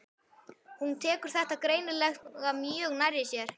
Hún tekur þetta greinilega mjög nærri sér.